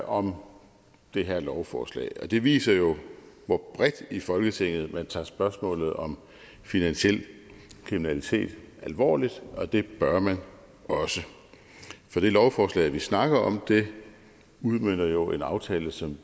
om det her lovforslag det viser jo hvor bredt i folketinget man tager spørgsmålet om finansiel kriminalitet alvorligt og det bør man også det lovforslag vi snakker om udmønter jo en aftale som